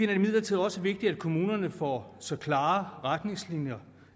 det imidlertid også vigtigt at kommunerne får så klare retningslinjer